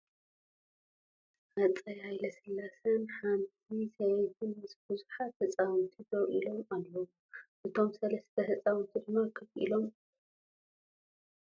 ህፀይ ሃይለስላሴ ን ሓንቲ ሰበይትን ምስ ቡዙሓት ህፃውንቲ ደው ኢሎም ኣለዉ ። እቶም ሰለስተ ህፃውንቲ ድማ ኮፍ ኢሎም ኣለዉ ።